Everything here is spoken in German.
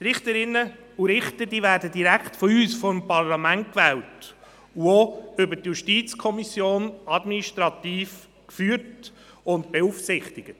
Richterinnen und Richter werden direkt von uns, dem Parlament, gewählt, und sie werden zudem über die JuKo administrativ geführt und beaufsichtigt.